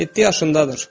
Yeddi yaşındadır.